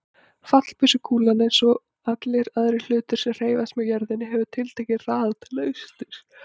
Fallbyssukúlan, eins og allir aðrir hlutir sem hreyfast með jörðinni, hefur tiltekinn hraða til austurs.